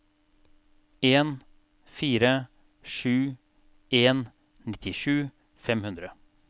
en fire sju en nittisju fem hundre